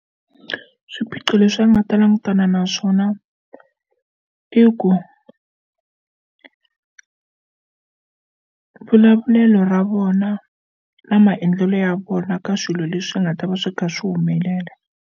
Swiphiqo leswi a nga ta langutana na swona i ku vulavulelo ra vona na maendlelo ya vona ka swilo leswi nga ta va swi kha swi humelela.